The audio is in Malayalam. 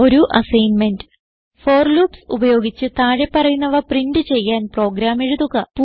ഒരു അസ്സിഗ്ന്മെന്റ് ഫോർ ലൂപ്സ് ഉപയോഗിച്ച് താഴെ പറയുന്നവ പ്രിന്റ് ചെയ്യാൻ പ്രോഗ്രാം എഴുതുക